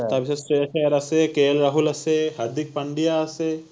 তাৰপিছত আছে, K L Rahul আছে, হাৰ্দিক পাণ্ডিয়া আছে